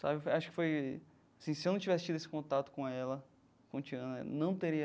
Sabe acho que foi assim se eu não tivesse tido esse contato com ela, com Tiana, não teria...